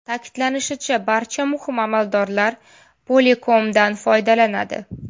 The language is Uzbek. Ta’kidlanishicha, barcha muhim amaldorlar Polycom’dan foydalanadi.